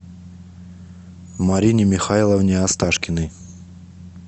марине михайловне асташкиной